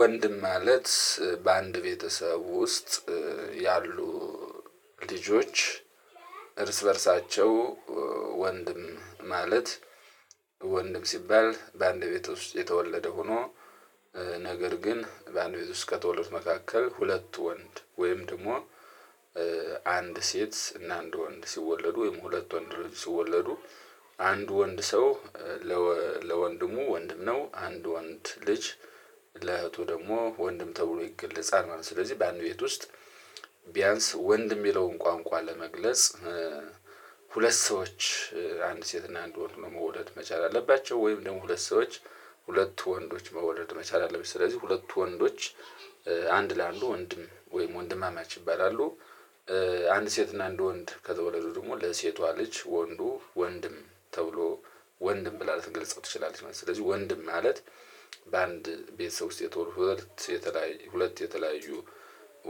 ወንድም ማለት በአንድ ቤተሰብ ውስጥ ያሉ ልጆች እርስ በእርሳቸው ወንድም ማለት ወንድም ሲባል በአንድ ቤት ውስጥ የተወለደ ሆኖ ነገር ግን በአንድ ቤት ውስጥ ከተወለዱ መካከል ሁለት ወንድ ወይም ደግሞ አንድ ሴት እና አንድ ወንድ ሲወለዱ ወይም ሁለት ወንድ ልጅ ሲወለዱ አንድ ወንድ ሰው ለወንድሙ ወንድም ነው አንድ ወንድ ልጅ ለእህቱ ደግሞ ወንድም ተብሎ ይገለጻል ማለት ነው። ስለዚህ በአንድ ቤት ውስጥ ቢያንስ ወንድ የሚለውን ቋንቋ ለመግለጽ ሁለት ሰዎች አንድ ሴት እና አንድ ወንድ መውለድ መቻል አለባቸው ወይም ደግሞ ሁለት ሰዎች ሁለት ወንዶችን መውለድ መቻል አለበት ስለዚህ ሁለቱ ወንዶች አንድ ለአንዱ ወንድም ወይም ወንድማማቾ ይባላሉ። አንድ ሴት እና አንድ ወንድ ከተወለዱ ደግሞ ለሴቷ ልጅ ወንዱ ወንድም ተብሎ ወንድም ብላ ልትገልጸው ትችላለች። ስለዚህ ወንድም ማለት በአንድ ቤተሰቦች ውስጥ የተወለዱ ሁለት የተለያዩ